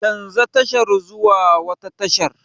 Canja tashar zuwa wata tashar!